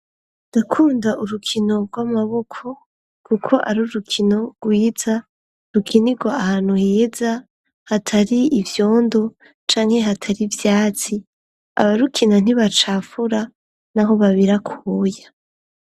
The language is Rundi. Ndakunda urukino rw'amaboko .kuko ari urukino rwiza rukinirwo ahantu heza hatari ibyondo canke hatari Vyatsi aba rukina ntibacafura n'aho babirakuya.